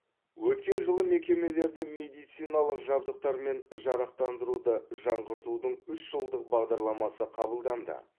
өткен жылы мекемелерді медициналық жабдықтармен жарақтандыруды жаңғыртудың үш жылдық бағдарламасы қабылданды